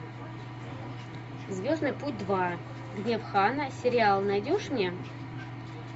зведный путь два гнев хана сериал найдешь мне